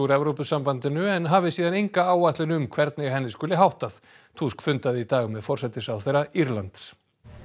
Evrópusambandinu en hafi síðan enga áætlun um hvernig henni skuli hagað tusk fundaði í dag með forsætisráðherra Írlands